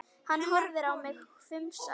Hann horfði á mig hvumsa.